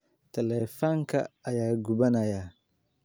Taleefanka ayaa gubanaya.